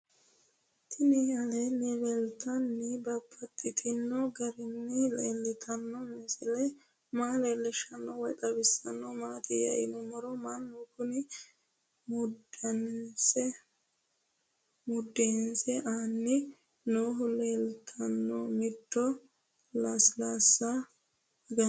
Tinni aleenni leelittannotti babaxxittinno garinni leelittanno misile maa leelishshanno woy xawisannori maattiya yinummoro mannu kunni mundeensa aanni noohu leelanno mittu lasilaassa aganna